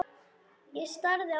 Ég starði á mömmu.